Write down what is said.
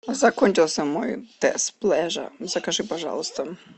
закончился мой тесс плеже закажи пожалуйста